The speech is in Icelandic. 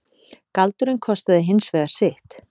Galdurinn kostaði hins vegar sitt.